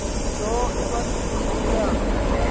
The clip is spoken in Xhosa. nto ebantwini ayaba